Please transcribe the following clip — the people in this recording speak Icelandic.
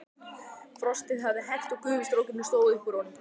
Frostið hafði hert og gufustrókurinn stóð út úr honum.